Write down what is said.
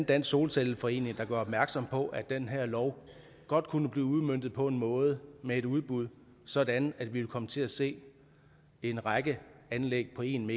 dansk solcelleforening der gør opmærksom på at den her lov godt kunne blive udmøntet på en måde med et udbud sådan at vi ville komme til at se en række anlæg på en